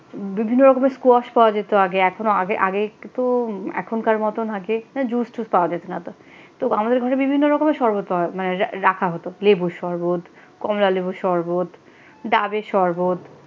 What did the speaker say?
বিভিন্ন রকমের স্কোয়াস পাওয়া যেত আগে এখনো আগে আগে একটু এখনকার মত আগে জুস্ টুস পাওয়া যেত না এতো তো আমাদের ঘরে বিভিন্ন রকমের শরবত পাওয়া মানে রাখা হতো লেবুর শরবত কমলালেবুর শরবত ডাবের শরবত।